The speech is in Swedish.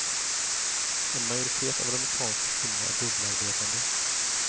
En majoritet av de amerikanska kvinnorna är dubbelarbetande.